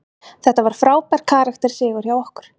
Þetta var frábær karakter sigur hjá okkur.